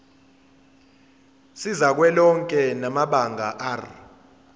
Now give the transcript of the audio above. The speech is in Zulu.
sikazwelonke samabanga r